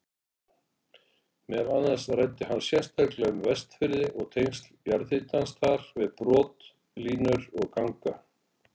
Meðal annars ræddi hann sérstaklega um Vestfirði og tengsl jarðhitans þar við brotlínur og ganga.